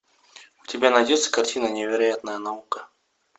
у тебя найдется картина невероятная наука